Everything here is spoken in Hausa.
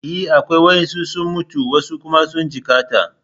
E, akwai. Wasu sun mutu wasu kuma sun jikkata.